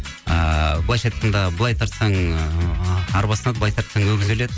ыыы былайынша айтқанда былай тартсаң ыыы арба сынады быйлай тарсаң өгіз өледі